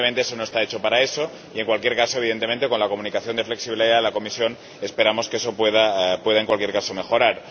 Pero, evidentemente, eso no está hecho para eso y, en cualquier caso, evidentemente, con la Comunicación sobre flexibilidad de la Comisión, esperamos que eso pueda mejorar.